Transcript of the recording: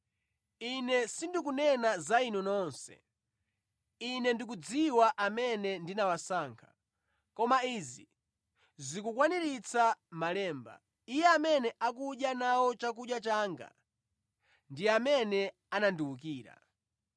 “Ine sindikunena za inu nonse. Ine ndikudziwa amene ndinawasankha. Koma izi zikukwaniritsa malemba: ‘Iye amene akudya nawo chakudya changa, ndiye amene anandiwukira.’